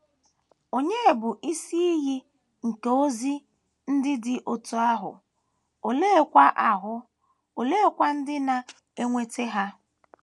Ònye bụ Isi Iyi nke ozi ndị dị otú ahụ, oleekwa ahụ, oleekwa ndị na - enweta ha?